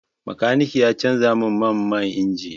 Makaniki ya canza min man injin.